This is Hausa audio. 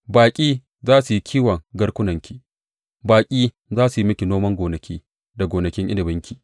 Baƙi za su yi kiwon garkunanki; baƙi za su yi miki noman gonaki da gonakin inabinki.